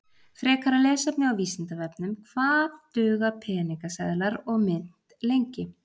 Frekara lesefni á Vísindavefnum: Hvað duga peningaseðlar og mynt lengi?